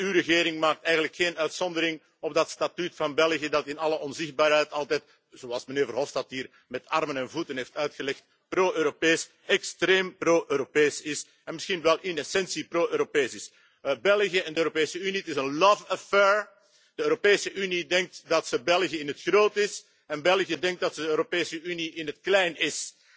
Uw regering maakt eigenlijk geen uitzondering op dat statuut van België dat in alle onzichtbaarheid altijd, zoals mijnheer Verhofstadt hier met armen en voeten heeft uitgelegd, pro Europees, extreem pro Europees is en misschien wel in de essentie pro Europees is. België en de Europese Unie, het is een love affair De Europese Unie denkt dat ze België in het groot is en België denkt dat het de Europese Unie in het klein is.